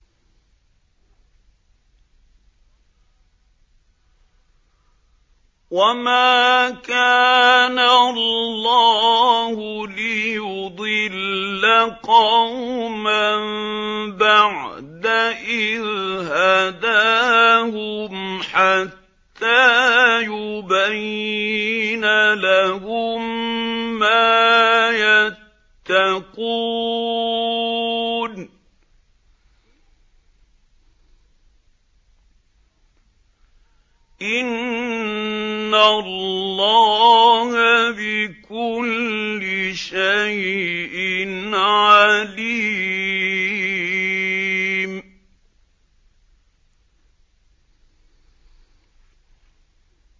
وَمَا كَانَ اللَّهُ لِيُضِلَّ قَوْمًا بَعْدَ إِذْ هَدَاهُمْ حَتَّىٰ يُبَيِّنَ لَهُم مَّا يَتَّقُونَ ۚ إِنَّ اللَّهَ بِكُلِّ شَيْءٍ عَلِيمٌ